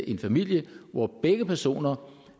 en familie hvor begge personer